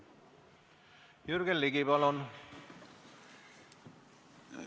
Jürgen Ligi, palun!